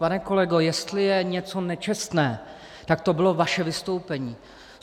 Pane kolego, jestli je něco nečestné, tak to bylo vaše vystoupení.